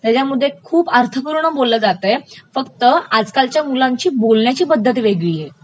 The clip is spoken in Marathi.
त्याच्यमध्ये खूप अर्थपूर्ण बोललं जातय फक्त आजकालच्या मुलांची बोलण्याची पध्दत वेगळी आहे